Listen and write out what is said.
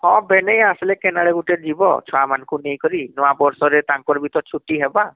ହଁ ଭେନେଇ ଆସିଲେ କେନ ଆଡେ ଗୁଟେ ଯିବ ଛୁଆ ମାନଙ୍କୁ ନେଇ କରି ନୁଆଁ ବର୍ଷରେ ତାଙ୍କର ବି ତ ଛୁଟି ହେବା